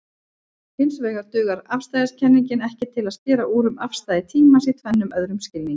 Hinsvegar dugar afstæðiskenningin ekki til að skera úr um afstæði tímans í tvennum öðrum skilningi.